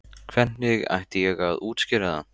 Hvernig ætti ég að útskýra það?